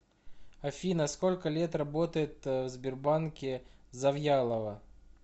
афина сколько лет работает в сбербанке завьялова